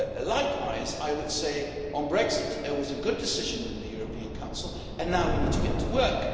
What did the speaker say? Likewise, I would say on Brexit that it was a good decision in the European Council, and now we need to get to work.